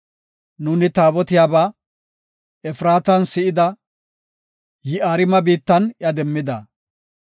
Nuuni Taabotiyabaa Efraatan si7ida; Yi7aarime biittan iya demmida.